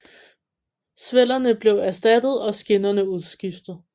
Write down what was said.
Svellerne blev erstattet og skinnerne udskiftet